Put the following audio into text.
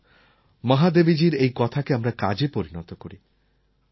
আসুন মহাদেবীজীর এই কথাকে আমরা কাজে পরিণত করি